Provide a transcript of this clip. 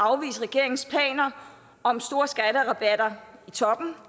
afvise regeringens planer om store skatterabatter i toppen